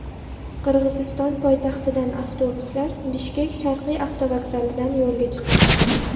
Qirg‘iziston poytaxtidan avtobuslar Bishkek sharqiy avtovokzalidan yo‘lga chiqadi.